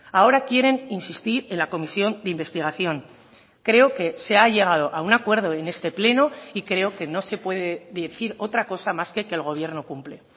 ahora quieren insistir en la comisión de investigación creo que se ha llegado a un acuerdo en este pleno y creo que no se puede decir otra cosa más que que el gobierno cumple